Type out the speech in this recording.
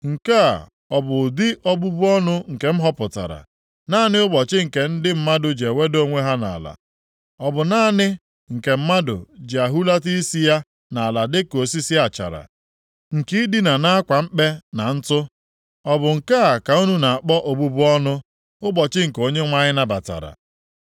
Nke a ọ bụ ụdị obubu ọnụ nke m họpụtara, naanị ụbọchị nke ndị mmadụ ji eweda onwe ha nʼala? Ọ bụ naanị nke mmadụ ji ehulata isi ya nʼala dịka osisi achara, nke i dina nʼakwa mkpe na ntụ? Ọ bụ nke a ka unu na-akpọ obubu ọnụ, ụbọchị nke Onyenwe anyị nabatara?